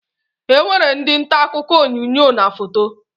E nwere ndị ntaakụkọ onyoonyo na foto